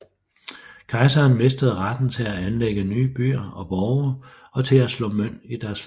Kejseren mistede retten til at anlægge nye byer og borge og til at slå mønt i deres lande